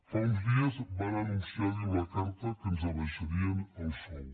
fa uns dies van anunciar diu la carta que ens abaixarien el sou